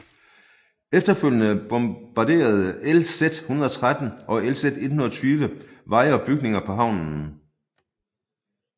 Efterfølgende bombarderede LZ 113 og LZ 120 veje og bygninger på havnen